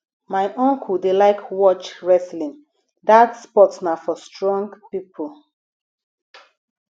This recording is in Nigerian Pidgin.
my uncle dey like watch wrestling dat sport na for strong pipo